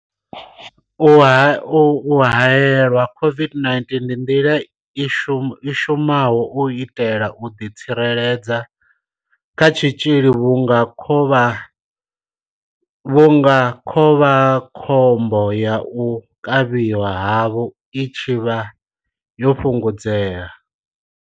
U haelelwa COVID-19 ndi nḓila i shumaho u itela u ḓitsireledza kha tshitzhili vhunga khovhakhombo ya u kavhiwa havho i tshi vha yo fhungudzea.